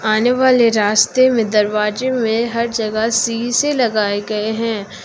आने वाले रास्ते में दरवाजे में हर जगह शीशे लगाए गए हैं।